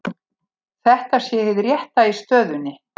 Þetta sé hið rétta í stöðunni